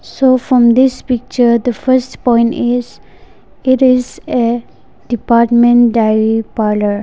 so from this picture the first point is it is a department dairy parlour.